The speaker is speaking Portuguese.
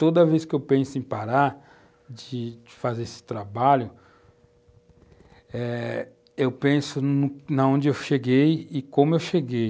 Toda vez que eu penso em parar de de fazer esse trabalho, eh eu penso no, onde eu cheguei e como eu cheguei.